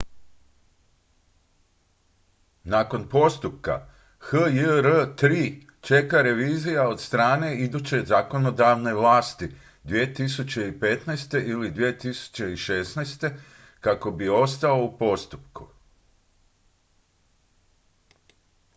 nakon postupka hjr-3 čeka revizija od strane iduće zakonodavne vlasti 2015. ili 2016. kako bi ostao u postupku